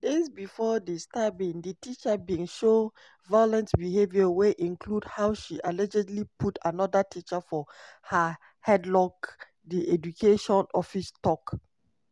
days bifor di stabbing di teacher bin show violent behaviour wey include how she allegedly put anoda teacher for her headlock di education office tok.